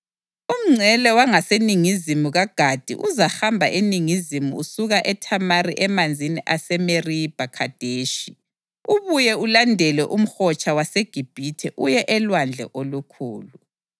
Umngcele wangaseningizimu kaGadi uzahamba eningizimu usuka eThamari emanzini aseMeribha Khadeshi, ubuye ulandele uMhotsha waseGibhithe uye eLwandle Olukhulu.